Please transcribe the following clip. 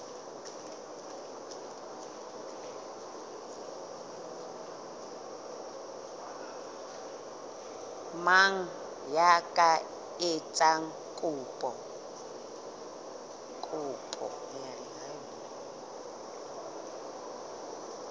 mang ya ka etsang kopo